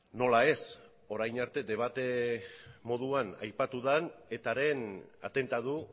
nola ez orain arte debate moduan aipatu den etaren atentatu